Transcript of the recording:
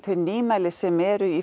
þau nýmæli sem eru í